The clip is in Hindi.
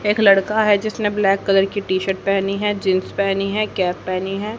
एक लड़का है जिसने ब्लैक कलर टी_शर्ट पहेनी है जींस पहेनी है कैप पहेनी है।